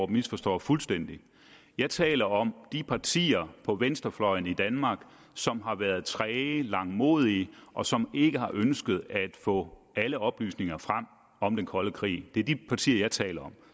misforstår fuldstændig jeg taler om de partier på venstrefløjen i danmark som har været træge langmodige og som ikke har ønsket at få alle oplysninger frem om den kolde krig det er de partier jeg taler